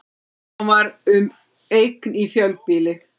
Hann var um eign í fjölbýli